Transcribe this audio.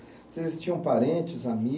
Vocês tinham parentes, ami